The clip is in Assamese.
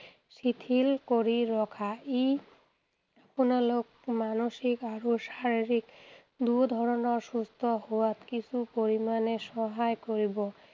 শিথিল কৰি ৰখা। ই আপোনালোক মানসিক আৰু শাৰীৰিক দুয়োধৰণৰ সুস্থ হোৱাত কিছু পৰিমাণে সহায় কৰিব।